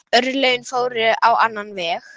Örlögin fóru á annan veg.